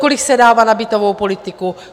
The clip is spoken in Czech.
Kolik se dává na bytovou politiku.